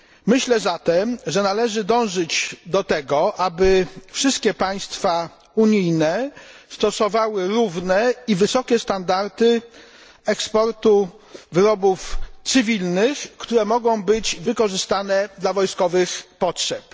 Myślę zatem, że należy dążyć do tego, aby wszystkie państwa unijne stosowały równe i wysokie standardy eksportu wyrobów cywilnych, które mogą być wykorzystane dla wojskowych potrzeb.